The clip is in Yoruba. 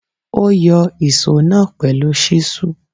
Ó yọ ìsó náà pẹ̀lú ṣísù.